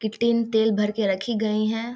की tin तेल भर के रखी गई हैं।